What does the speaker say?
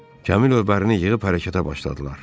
Kamillər bərini yığıb hərəkətə başladılar.